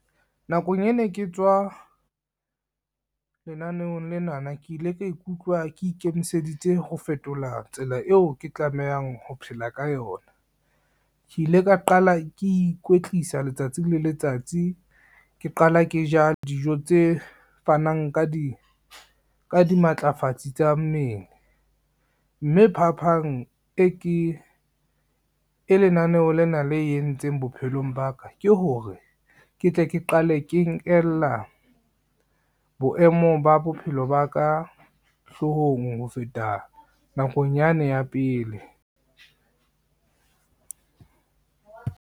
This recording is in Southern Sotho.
Nakong ene ke tswa, lenaneong lenana ke ile ka ikutlwa ke ikemiseditse ho fetola tsela eo ke tlamehang ho phela ka yona. Ke ile ka qala ke ikwetlisa letsatsi le letsatsi, ke qala ke ja dijo tse fanang ka dimatlafatsi tsa mmele, mme phapang e lenaneo lena le entseng bophelong ba ka ke ho hore ke tle ke qale ke nkella, boemo ba bophelo ba ka hloohong ho feta nakong yane ya pele.